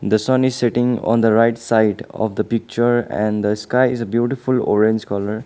the sun is setting on the right side of the picture and the sky is beautiful orange colour.